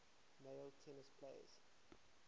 male tennis players